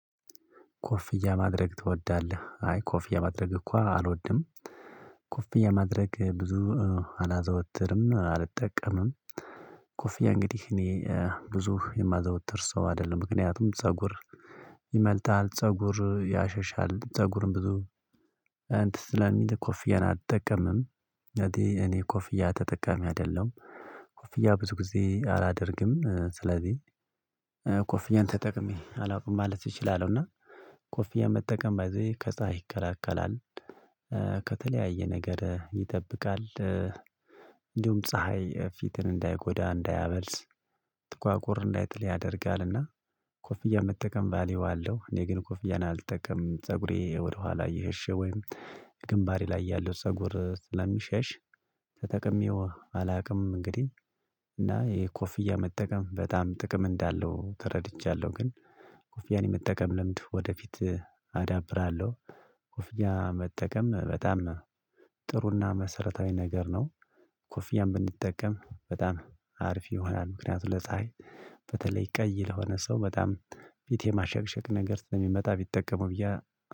ኮፍያ ማድረግ ትወዳለህ? አይ ኮፍያ ማድረግ እኮ አልወድም። ኮፍያ ማድረግ ብዙ አላዘወትርም አልጠቀምም ኮፍያ እንግዲህ እኔ ብዙ የማዘወትር ሰው አይደለም። ምክንያቱም ፀጉር ይመልጣል፤ ፀጉር ያሸሻል ፀጉርም ብዙ እንትን ስለሚል ኮፍያን አትጠቀምም። ማለቴ እኔ ኮፍያ ተጠቃሚ አይደለም። ኮፍያ ብዙ ጊዜ አላደርግም። ስለዚህ ኮፍያን ተጠቅሜ አላውቅም። ማለት እችላለሁ እና ኮፊያ መጠቀም ባይ ዘ ዌይ ከዛ ይከራከራል። ከተለያየ ነገር ይጠብቃል። እንዲሁም ፀሀይ ፊትን እንዳይጎዳ እንዳያበልስ ጥቋቁር እንዳይተል ያደርጋል። እና ኮፍያ መጠቀም ቫልዩ አለው እኔ ግን ኮፍያን አልጠቀም። ፀጉሬ ወደኋላ እየሸ ወይም ግንባሪ ላይ ያለው ፀጉር ስለሚሸሽ ተጠቅሜው አላውቅም። እንግዲህ እና ይሄ ኮፍያ መጠቀም በጣም ጥቅም እንዳለው ተረድቻለሁ። ግን ኮፍያን የመጠቀም ልምድ ወደፊት አዳብራለሁ። ኮፍያ መጠቀም በጣም ጥሩና መሰረታዊ ነገር ነው ኮፍያም ብንጠቀም በጣም አርፍ ይሆናል። ምክንያቱም ለፀሀይ በተለይ ቀይ ለሆነ ሰው በጣም ፊቴ ማሸግሸግ ነገር የሚመጣ ቢጠቀሙ ብዬ